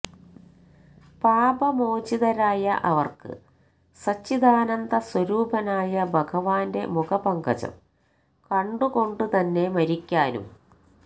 പാപമോചിതരായ അവര്ക്ക് സച്ചിദാനന്ദ സ്വരൂപനായ ഭഗവാന്റെ മുഖപങ്കജം കണ്ടുകൊണ്ടുതന്നെ മരിക്കാനും